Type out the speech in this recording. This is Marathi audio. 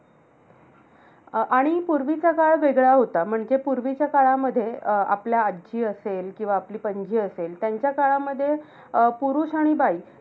अं आणि पूर्वीचा काळ वेगळा होता. म्हणजे पूर्वीच्या काळामध्ये अं आपल्या आजी असेल किंवा आपली पंजी असेल त्यांच्या काळामध्ये अं पुरुष आणि बाई